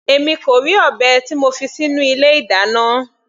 Èmi kò rí ọ̀bẹ tí mo fi sínú ilé ìdáná.